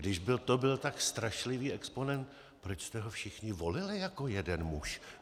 Když to byl tak strašlivý exponent, proč jste ho všichni volili jako jeden muž?